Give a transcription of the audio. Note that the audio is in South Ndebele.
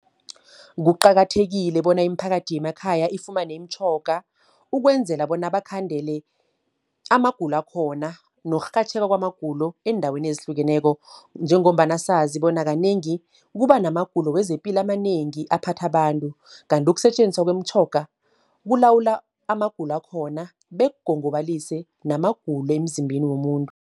Kuqakathekile bona iimphakathi yemakhaya ifumane imitjhoga, ukwenzela bona bakhandele amagulo akhona nokurhatjheka kwanamagulo eendaweni ezihlukeneko. Njengombana sazi bona kanengi, kuba namagulo wezepilo amanengi aphatha abantu. Kanti ukusetjenziswa kwemtjhoga, kulawula amagulo akhona, bekugongobalise namagulo emzimbeni womuntu.